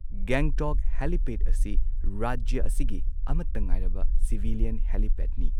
Gangtok helipad ꯑꯁꯤ ꯔꯥꯖ꯭ꯌ ꯑꯁꯤꯒꯤ ꯑꯃꯠꯇ ꯉꯥꯏꯔꯕ ꯁꯤꯚꯤꯂꯤꯌꯟ ꯍꯦꯂꯤꯄꯦꯗꯅꯤ꯫